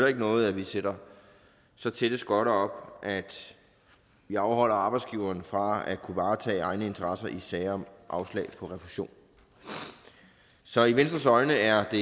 ikke noget at vi sætter så tætte skotter op at vi afholder arbejdsgiveren fra at kunne varetage egne interesser i sager om afslag på refusion så i venstres øjne er det